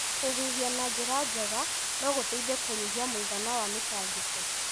Kũhuhia na njĩra njega no gũteithie kũnyihia mũigana wa mĩtangĩko.